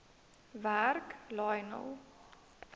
werk lionel